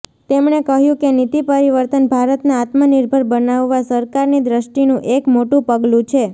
તેમણે કહ્યું કે નીતિ પરિવર્તન ભારતને આત્મનિર્ભર બનાવવા સરકારની દ્રષ્ટિનું એક મોટું પગલું છે